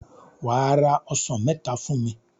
Wà á ra ọsàn mẹta fún mi.